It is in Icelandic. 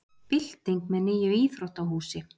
Bylting með nýju íþróttahúsi